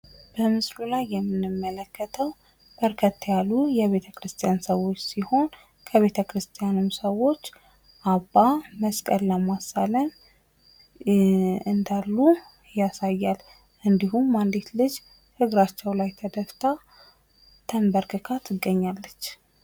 በምስሉ ላይ የምንመለከተው በርከት ያሉ የቤተ ክርስቲያን ሰዎች ሲሆኑ ከቤተክርስትያኑ ሰዎች አባ መስቀል በማሳለም ላይ እንዳሉ ያሳያል ፤ እንዲሁም አንዲት ልጅ እግራቸው ላይ ተደፍታ ፥ ተንበርክካ ትገኛለች።